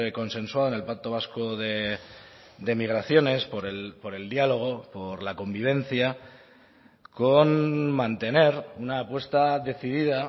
consensuado en el pacto vasco de migraciones por el diálogo por la convivencia con mantener una apuesta decidida